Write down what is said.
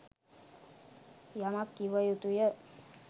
යමක් කිව යුතුය.